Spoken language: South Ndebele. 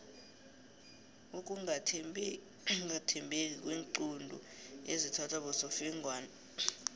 ukungathembeki kweenqundu ezithathwa bosofengwana